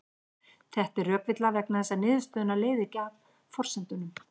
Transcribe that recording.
Þetta er rökvilla vegna þess að niðurstöðuna leiðir ekki af forsendunum.